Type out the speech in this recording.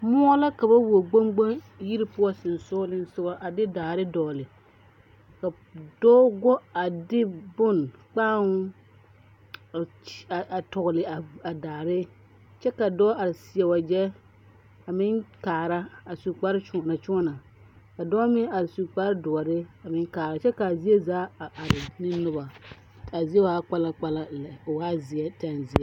Moɔ la ka ba wuo gboŋ gboŋ yiri poɔ sensoglesogɔ a de daare dɔgle ka dɔɔ go a de bone kpãão a tɔgle a daare kyɛ ka dɔɔ are seɛ wagyɛ a meŋ kaara su kparekyoɔnakyoɔna ka dɔɔ meŋ are su kparedoɔre a meŋ kaara kyɛ k,a zie a are ne noba k,a zie waa kpalankpalan lɛ o waa zeɛ tenzeɛ.